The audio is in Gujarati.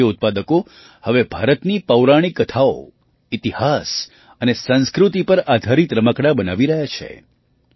ભારતીય ઉત્પાદકો હવે ભારતની પૌરાણિક કથાઓ ઇતિહાસ અને સંસ્કૃતિ પર આધારિત રમકડાં બનાવી રહ્યા છે